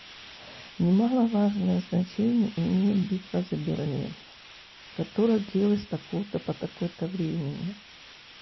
немаловажное значение имеет битва за берлин которая длилась с такого-то по такое-то времени